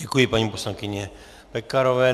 Děkuji paní poslankyni Pekarové.